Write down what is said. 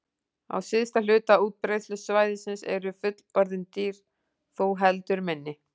Á syðsta hluta útbreiðslusvæðisins eru fullorðin dýr þó heldur minni.